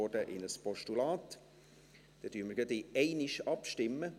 Wir stimmen in einem Mal darüber ab.